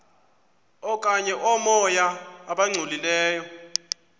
okanye oomoya abangcolileyo